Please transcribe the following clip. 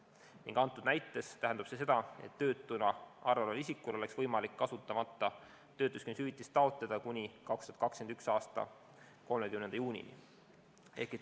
Konkreetses näites tähendab see seda, et töötuna arvel oleval isikul oleks võimalik kasutamata töötuskindlustushüvitist taotleda kuni 2021. aasta 30. juunini.